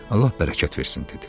Allah bərəkət versin dedi.